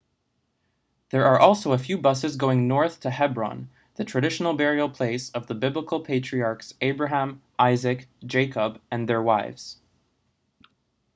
there are also a few buses going north to hebron the traditional burial place of the biblical patriarchs abraham isaac jacob and their wives